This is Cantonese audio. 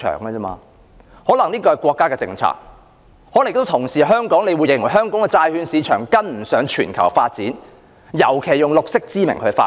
這可能是國家的政策，可能亦有同事認為香港的債券市場跟不上全球發展，尤其是以綠色之名來發展。